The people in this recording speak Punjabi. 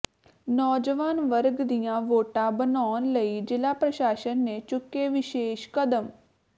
ਨੌਜਵਾਨ ਵਰਗ ਦੀਆਂ ਵੋਟਾਂ ਬਣਾਉਣ ਲਈ ਜਿਲ੍ਹਾ ਪ੍ਰਸਾਸ਼ਨ ਨੇ ਚੁੱਕੇ ਵਿਸੇਸ਼ ਕਦਮ